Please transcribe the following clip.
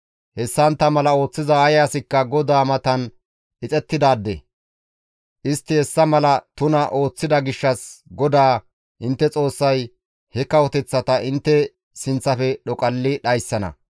Hessantta mala ooththiza ay asikka GODAA matan ixettidaade; istti hessa mala tuna ooththida gishshas GODAA intte Xoossay he kawoteththata intte sinththafe dhoqalli dhayssana.